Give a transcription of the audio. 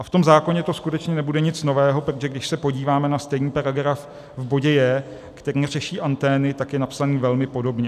A v tom zákoně to skutečně nebude nic nového, protože když se podíváme na stejný paragraf v bodě j), který řeší antény, tak je napsaný velmi podobně.